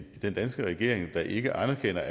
den danske regering der ikke anerkender